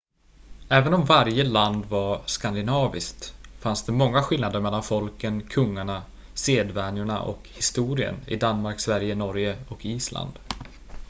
"även om varje land var "skandinaviskt" fanns det många skillnader mellan folken kungarna sedvänjorna och historien i danmark sverige norge och island.